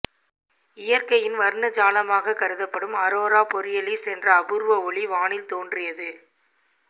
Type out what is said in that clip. இயற்கையின் வர்ணஜாலமாக கருதப்படும் அரோரா பொரியலிஸ் என்ற அபூர்வ ஒளி வானில் தோன்றியது